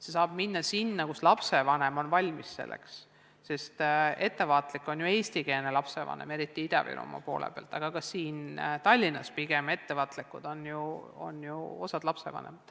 Seda saab rakendada seal, kus lapsevanem on selleks valmis, sest ettevaatlik on ju eestikeelne lapsevanem, eriti Ida-Virumaal, aga ka siin Tallinnas on mõned lapsevanemad pigem ettevaatlikud.